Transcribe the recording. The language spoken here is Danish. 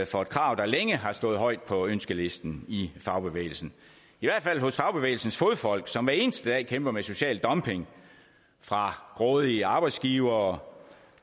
for et krav der længe har stået højt på ønskelisten i fagbevægelsen i hvert fald hos fagbevægelsens fodfolk som hver eneste dag kæmper med social dumping fra grådige arbejdsgivere